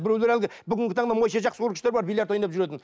біреулер әлгі бүгінгі таңда монша жақсы көргіштер бар биллиард ойнап жүретін